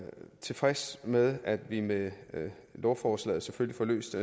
tilfreds med at vi med lovforslaget selvfølgelig får løst